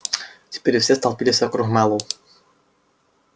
теперь все столпились вокруг мэллоу